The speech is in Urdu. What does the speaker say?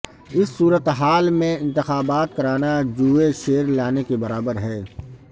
اس صورتحال میں انتخابات کرانا جوئے شیر لانے کے برابر ہے